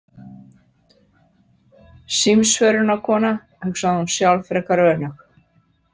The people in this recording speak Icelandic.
Símsvörunarkona, hugsaði hún sjálf frekar önug.